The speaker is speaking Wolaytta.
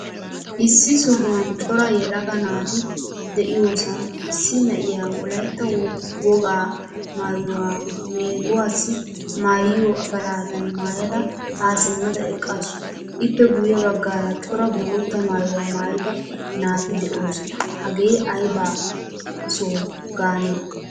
Issi sohuwan cora yelaga naati de'iyosan issi na'iyaa wolaytta wogaa maayuwaa meeguwaasi maayiyo afaladan maayda ha simmada eqqasu. Ippe guye baggaara cora bootta maayuwaa maayida naati deosona. Hagee ayba soho gaane?